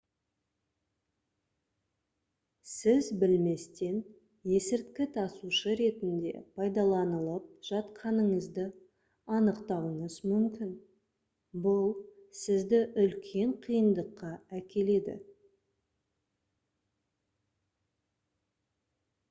сіз білместен есірткі тасушы ретінде пайдаланылып жатқаныңызды анықтауыңыз мүмкін бұл сізді үлкен қиындыққа әкеледі